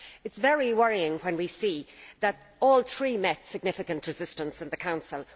It is very worrying when we see that all three met significant resistance in the Council.